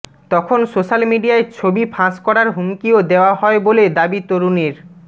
তখন সোশ্যাল মিডিয়ায় ছবি ফাঁস করার হুমকিও দেওয়া হয় বলে দাবি তরুণীর